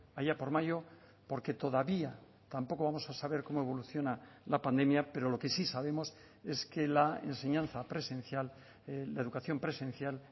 allá por mayo porque todavía tampoco vamos a saber cómo evoluciona la pandemia pero lo que sí sabemos es que la enseñanza presencial la educación presencial